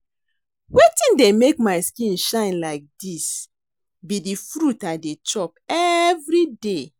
Wetin dey make my skin shine like dis be the fruit I dey chop everyday